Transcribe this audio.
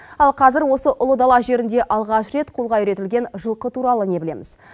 ал қазір осы ұлы дала жерінде алғаш рет қолға үйретілген жылқы туралы не білеміз